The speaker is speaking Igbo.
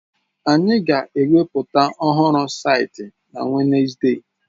Anyị ga-eweputa ọhụrụ saịtị na Wenezde!